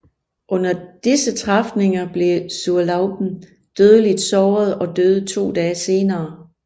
Under disse træfninger blev Zurlauben dødeligt såret og døde to dage senere